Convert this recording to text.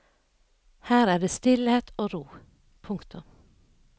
Her er det stillhet og ro. punktum